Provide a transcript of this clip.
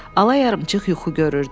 alayarımçıq yuxu görürdü.